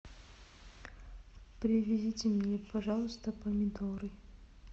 привезите мне пожалуйста помидоры